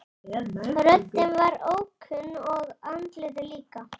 Röddin var ókunn og andlitið líka.